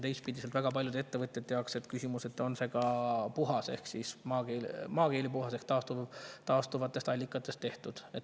Teistpidi on väga paljude ettevõtjate jaoks küsimus, kas see on ka puhas – maakeeli puhas – ehk taastuvatest allikatest tehtud.